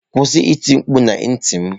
Kwụsị iti mkpu na ntị m.